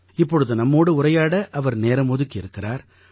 இப்பொழுது நம்மோடு உரையாட அவர் நேரம் ஒதுக்கி இருக்கிறார்